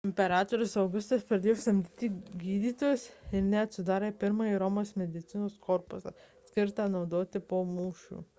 imperatorius augustas pradėjo samdyti gydytojus ir netgi sudarė pirmąjį romos medicinos korpusą skirtą naudoti po mūšių